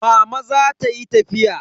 Mama za ta yi tafiya.